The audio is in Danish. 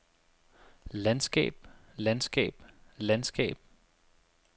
landskab landskab landskab